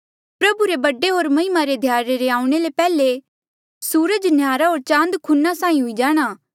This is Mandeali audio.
प्रभु रे बडे होर महिमा रे ध्याड़े रे आऊणें ले पैहले सूरजा न्हयारा होर चांद खूना साहीं हुई जाणा